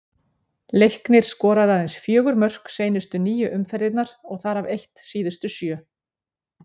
Leiknir skoraði aðeins fjögur mörk seinustu níu umferðirnar og þar af eitt síðustu sjö.